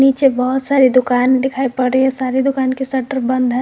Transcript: पीछे बहोत सारी दुकान दिखाई पड़ रही है सारी दुकान के शटर बंद है।